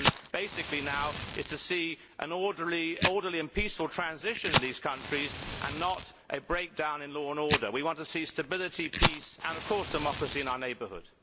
The issue basically now is to see an orderly and peaceful transition in these countries and not a breakdown in law and order. We want to see stability, peace and, of course, democracy in our neighbourhood.